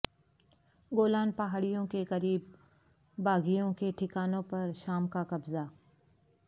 گولان پہاڑیوں کے قریب باغیوں کے ٹھکانوں پر شام کا قبضہ